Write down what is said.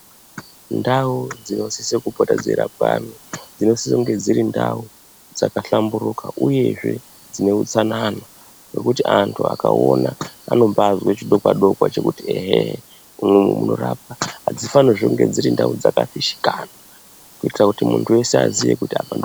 Ndau dzinosise kupota dzeirapwa antu dzinosise kunge dziri ndau dzakahlamburuka uyezve dzine utsanana ngekuti antu akaona anombaazwe chidokwa dokwa chekumbaati eehee umu munorapwa. Apafanirwizve pari pandau yakafishikana kuitira kuti muntu weshe aziye kuti....